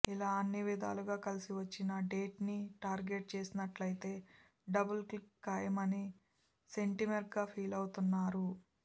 ఇలా అన్ని విధాలుగా కలిసి వచ్చిన డేట్ని టార్గెట్ చేసినట్టయితే డబుల్ కిక్ ఖాయమని సెంటిమెంట్గా ఫీలవుతున్నారు